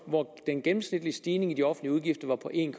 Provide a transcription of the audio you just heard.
hvor den gennemsnitlige stigning i de offentlige udgifter var på en